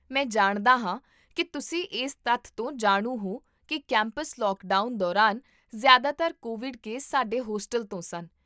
ਮੈਂ ਜਾਣਦਾ ਹਾਂ ਕਿ ਤੁਸੀਂ ਇਸ ਤੱਥ ਤੋਂ ਜਾਣੂ ਹੋ ਕੀ ਕੈਂਪਸ ਲੌਕਡਾਊਨ ਦੌਰਾਨ, ਜ਼ਿਆਦਾਤਰ ਕੋਵਿਡ ਕੇਸ ਸਾਡੇ ਹੋਸਟਲ ਤੋਂ ਸਨ